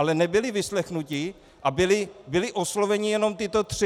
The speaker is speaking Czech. Ale nebyli vyslechnuti a byli osloveni jenom tito tři.